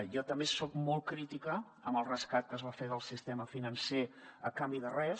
jo també soc molt crítica amb el rescat que es va fer del sistema financer a canvi de res